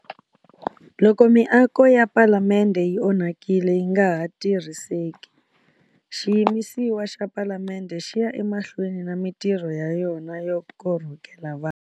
Loko miako ya Palamende yi onhakile yi nga ha tirhiseki, xiyimisiwa xa Palamende xi ya emahlweni na mitirho ya yona yo korhokela vanhu.